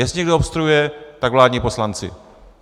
Jestli někdo obstruuje, tak vládní poslanci.